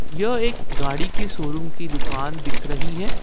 यह एक गाड़ी के शोरूम की दुकान दिख रही है।